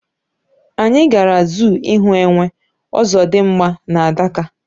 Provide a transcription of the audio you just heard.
Anyị gara zoo ịhụ Enwe, Ozodimgba na Adaka